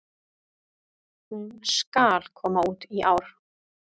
Hún SKAL koma út í ár!